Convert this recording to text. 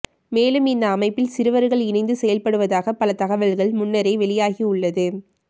மேலும் இந்த அமைப்பில் சிறுவர்கள் இணைந்து செய்ல்படுவதாக பல தகவல் முன்னரே வெளியாகியுள்ளது